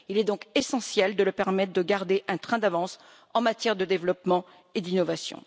Il est donc essentiel de leur permettre de garder un train d'avance en matière de développement et d'innovation.